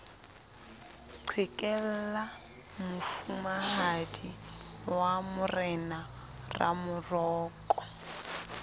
qhekella mofumahadi wa morena ramoroko